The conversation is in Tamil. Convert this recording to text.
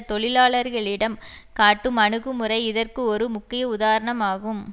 தொழிலாளர்களிடம் காட்டும் அணுகுமுறை இதற்கு ஒரு முக்கிய உதாரணம் ஆகும்